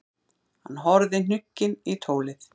Hann horfði hnugginn í tólið.